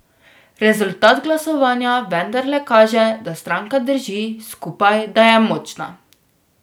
Rezultat glasovanja vendarle kaže, da stranka drži skupaj, da je močna.